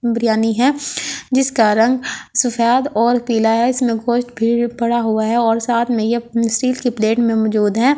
बिरयानी है जिस कारण सफैद ओर पिलाया इसमे गोष्ट भी पड़ा हुआ है और साथ में ये स्टील की प्लेट में मजूद है।